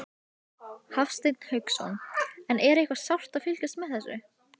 Hafsteinn Hauksson: En er eitthvað sárt að fylgjast með þessu?